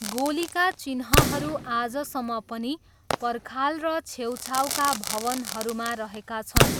गोलीका चिह्नहरू आजसम्म पनि पर्खाल र छेउछाउका भवनहरूमा रहेका छन्।